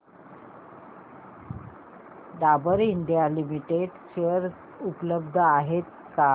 Dabur India limited share उपलब्ध आहेत का